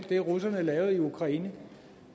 det russerne lavede i ukraine